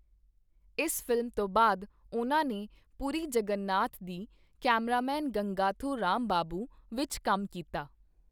ਇਸ ਫ਼ਿਲਮ ਤੋਂ ਬਾਅਦ ਉਨ੍ਹਾਂ ਨੇ ਪੁਰੀ ਜਗਨਨਾਥ ਦੀ 'ਕੈਮਰਾਮੈਨ ਗੰਗਾਥੋ ਰਾਮਬਾਬੂ' ਵਿੱਚ ਕੰਮ ਕੀਤਾ।